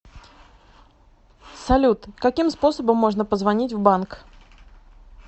салют каким способом можно позвонить в банк